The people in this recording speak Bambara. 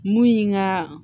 Mun ye nka